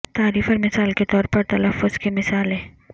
تعریف اور مثال کے طور پر تلفظ کی مثالیں